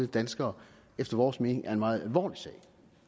danskere efter vores mening er en meget alvorlig sag